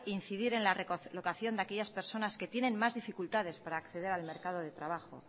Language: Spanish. incidir en la recolocación de aquellas personas que tienen más dificultades para acceder al mercado de trabajo